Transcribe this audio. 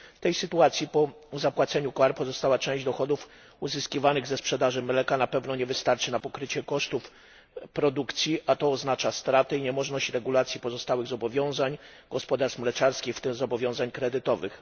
W tej sytuacji po zapłaceniu kar pozostała część dochodów uzyskiwanych ze sprzedaży mleka na pewno nie wystarczy na pokrycie kosztów produkcji, a to oznacza straty i niemożność uregulowania pozostałych zobowiązań gospodarstw mleczarskich, w tym zobowiązań kredytowych.